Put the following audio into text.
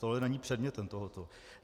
Tohle není předmětem tohoto.